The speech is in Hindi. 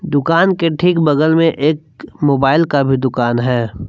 दुकान के ठीक बगल में एक मोबाइल का भी दुकान है।